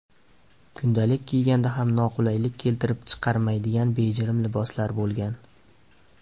Kundalik kiyganda ham noqulaylik keltirib chiqarmaydigan bejirim liboslar bo‘lgan.